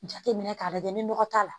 Jateminɛ k'a lajɛ ni nɔgɔ t'a la